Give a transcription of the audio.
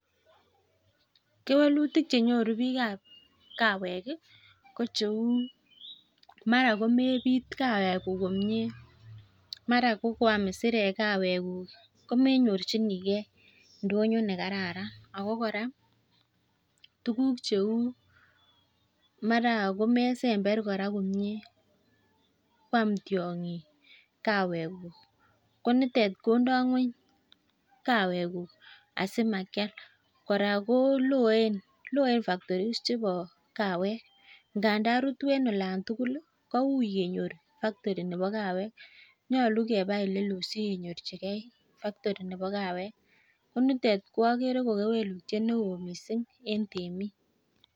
Keweluitik chenyoru biikab kawek ko cheu mara komebit kawekuk komie, mara ko koam isirek kwaekuk komenyorjinige ndonyo nekararan ago kora tuguk cheu mara komesember kora komie koam tiong'ik kawekuk, ko nitet kondo ng'weny kawekuk asimakial, kora ko loen factories chebo kawek ngandan rutu en lon tugul kouiy kenyor factory nebo kawek. Nyolu keba ole loo sikenyorjige factory nebo kawek ko nitet ko agere ko kewelutiet neo mising en temik.